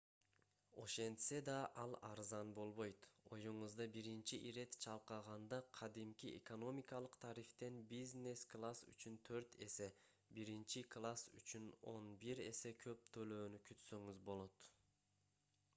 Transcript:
ошентсе да ал арзан болбойт оюңузда биринчи ирет чалкаганда кадимки экономикалык тарифтен бизнес класс үчүн төрт эсе биринчи класс үчүн он бир эсе көп төлөөнү күтсөңүз болот